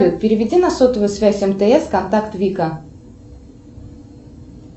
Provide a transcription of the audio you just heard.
переведи на сотовую связь мтс контакт вика